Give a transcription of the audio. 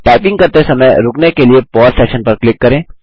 type करते समय रुकने के लिए पौसे सेशन पर क्लिक करें